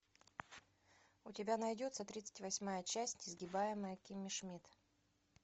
у тебя найдется тридцать восьмая часть несгибаемая кимми шмидт